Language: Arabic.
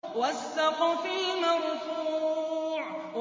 وَالسَّقْفِ الْمَرْفُوعِ